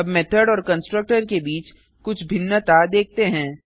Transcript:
अब मेथड और कंस्ट्रक्टर के बीच कुछ भिन्नता देखते हैं